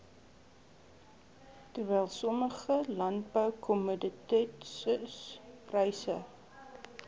terwyl sommige landboukommoditetispryse